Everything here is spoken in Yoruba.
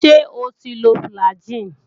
Ṣé o ti lo fùlàgi?